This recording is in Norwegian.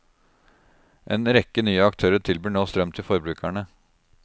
En rekke nye aktører tilbyr nå strøm til forbrukerne.